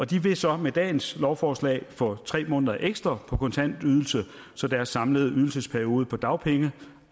de vil så med dagens lovforslag få tre måneder ekstra på kontantydelse så deres samlede ydelsesperiode på dagpenge